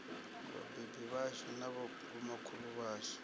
vhabebi vhashu na vhomakhulu washu